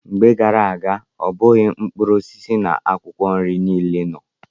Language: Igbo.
Mgbe gara aga, ọ bụghị mkpụrụ osisi na akwụkwọ nri niile nọ.